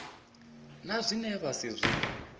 na zwine vha si zwi